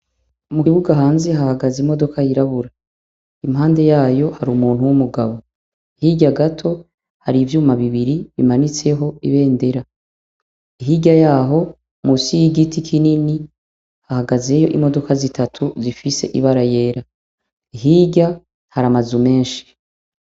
Mu kibuga hanze hahagaze imodoka yirabura, impande yayo hari umuntu w'umugabo, hirya gato hari ivyuma bibiri bimanitseko ibendera, hirya yaho munsi y'igiti kinini hahagazeyo imodoka zitatu zifise ibara ryera, hirya hari amazu menshi.